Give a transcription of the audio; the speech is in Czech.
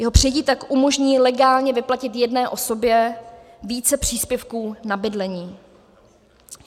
Jeho přijetí tak umožní legálně vyplatit jedné osobě více příspěvků na bydlení.